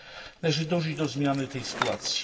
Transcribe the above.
Należy dążyć do zmiany tej sytuacji.